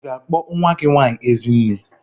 I ga-akpọ nwa gị nwaanyị Ezinne?